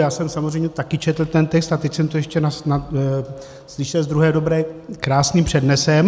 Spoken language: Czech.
Já jsem samozřejmě taky četl ten text a teď jsem to ještě slyšel z druhé dobré krásným přednesem.